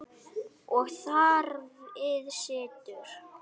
Og þar við situr.